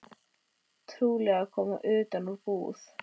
Trúlega að koma utan úr búð.